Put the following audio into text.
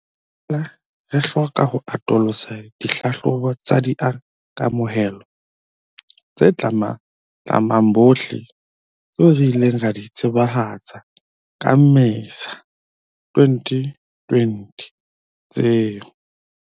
Re boela re hloka ho atolosa ditlhahlobo tsa di kamohelo tse tlamang bohle tseo re ileng ra di tsebahatsa ka Mmesa 2020 tseo